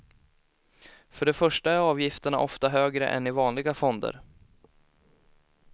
För det första är avgifterna ofta högre än i vanliga fonder.